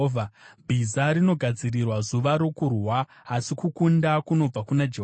Bhiza rinogadzirirwa zuva rokurwa, asi kukunda kunobva kuna Jehovha.